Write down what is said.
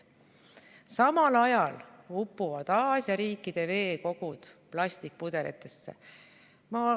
Samal ajal upuvad Aasia riikide veekogud plastikpudelitesse.